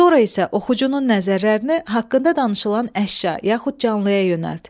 Sonra isə oxucunun nəzərlərini haqqında danışılan əşya yaxud canlıya yönəlt.